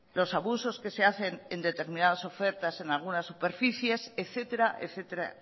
los abusos que se hacen en determinadas ofertas en algunas superficies etcétera etcétera